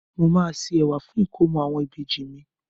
Mo máa se ẹ̀wà fún ìkómọ àwọn ìbejì mi.